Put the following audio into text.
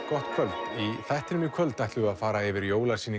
gott kvöld í þættinum í kvöld ætlum við að fara yfir